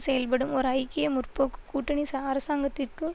செயல்படும் ஒரு ஐக்கிய முற்போக்கு கூட்டணி சஅரசாங்கத்திற்கு